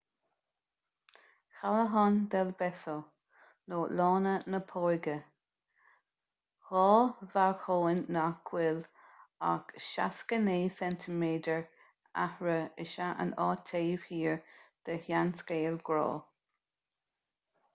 callejon del beso lána na póige. dhá bhalcóin nach bhfuil ach 69 ceintiméadar eatarthu is ea an áit taobh thiar de sheanscéal grá